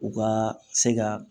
U ka se ka